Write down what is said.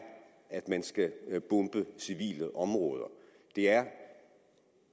at man skal bombe civile områder det er